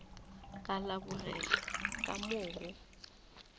ka lebogega ka moo go